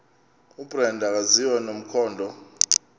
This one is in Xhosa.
ubrenda akaziwa nomkhondo